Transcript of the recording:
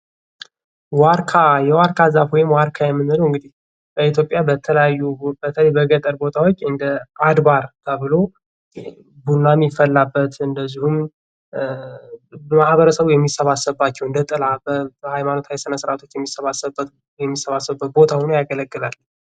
ዋርካ የዋርካ ዛፍ ወይም ዋርካ የምንለው እንግዲህ በኢትዮጵያ በተለያዩ በተለይ በገጠር ቦታዎች እንደ አድባር ተብሎ ቡና የሚፈላበት እንደዚሁም ማህበረሰቡ የሚሰባሰብባቸው እንደ ጥላ በሃይማኖታዊ ስነስርዓት የሚሰባሰቡበት ቦታ ሆኖ ያገለጋል::